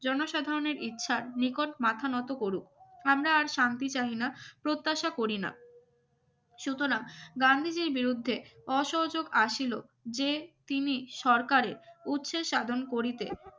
জনসাধারণের ইচ্ছার নিকট মাথা নত করুক আমরা আর শান্তি চাই না প্রত্যাশা করিনা সুতরাং গান্ধীজীর বিরুদ্ধে অসহযোগ আসিল যে তিনি সরকারের উৎস সাধন করিতে